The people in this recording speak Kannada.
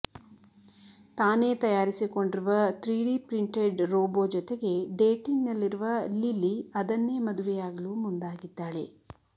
ತಾನೇ ತಯಾರಿಸಿಕೊಂಡಿರುವ ತ್ರೀ ಡಿ ಪ್ರಿಂಟೆಡ್ ರೋಬೊ ಜೊತೆಗೆ ಡೇಟಿಂಗ್ ನಲ್ಲಿರುವ ಲಿಲ್ಲಿ ಅದನ್ನೇ ಮದುವೆಯಾಗಲು ಮುಂದಾಗಿದ್ದಾಳೆ